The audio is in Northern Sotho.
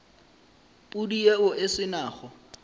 pudi yeo e se nago